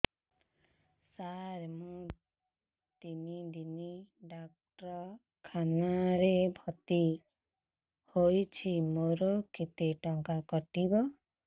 ସାର ମୁ ତିନି ଦିନ ଡାକ୍ତରଖାନା ରେ ଭର୍ତି ହେଇଛି ମୋର କେତେ ଟଙ୍କା କଟିବ